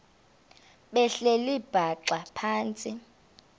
behleli bhaxa phantsi